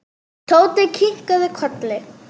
Tóti kinkaði kolli.